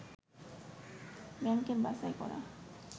ব্যাংকের বাছাই করা